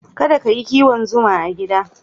Kada ka yi kiwon zuma a gida.